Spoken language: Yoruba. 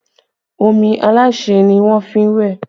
Omi aláṣẹ́ ni wọ́n fi wẹ̀